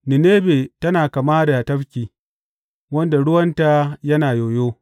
Ninebe tana kama da tafki, wanda ruwanta yana yoyo.